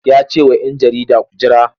Ya ce wa ‘yan jarida ku jira!